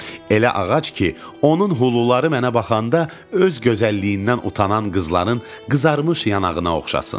Elə ağac ki, onun huluları mənə baxanda öz gözəlliyindən utanan qızların qızarmış yanağına oxşasın.